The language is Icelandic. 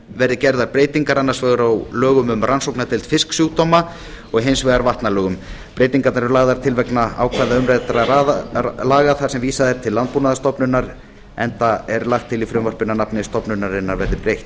verði gerðar breytingar annars vegar á lögum um rannsóknardeild fisksjúkdóma og hins vegar vatnalögum breytingarnar eru lagðar til vegna ákvæða umræddra laga þar sem vísað er til landbúnaðarstofnunar enda er lagt til í frumvarpinu að nafni stofnunarinnar verði breytt